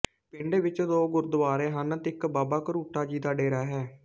ਪਿੰਡ ਵਿੱਚ ਦੋ ਗੁਰੂਦੁਆਰੇ ਹਨ ਅਤੇ ਇੱਕ ਬਾਬਾ ਕਰੂਟਾ ਜੀ ਦਾ ਡੇਰਾ ਹੈ